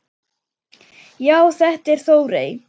Já, þetta er Þórey.